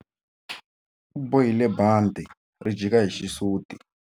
U bohile bandhi ri jika hi xisuti.